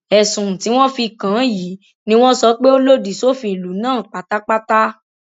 ẹsùn tí wọn fi kàn án yìí ni wọn sọ pé ó lòdì sófin ìlú náà pátápátá